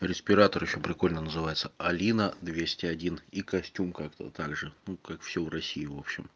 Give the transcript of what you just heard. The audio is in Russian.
респиратор ещё прикольно называется алина двести один и костюм как также как все в россии в общем